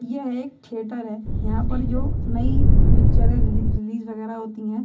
यह एक थिएटर है। यहां पर जो नई पिक्चरें रिली रिलीज वगैरा होती हैं।